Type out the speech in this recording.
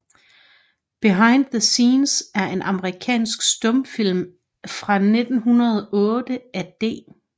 Behind the Scenes er en amerikansk stumfilm fra 1908 af D